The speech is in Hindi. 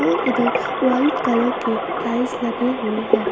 और इधर वाइट कलर के टाइल्स लगे हुए हैं।